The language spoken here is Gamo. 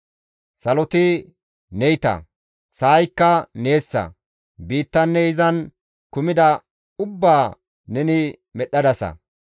Saloti neyta; sa7aykka neessa; biittanne izan kumida ubbaa neni medhdhadasa.